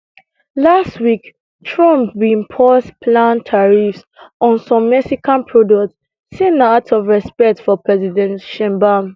last week trump bin pause planned tariffs on some mexican products say na out of respect for president sheinbaum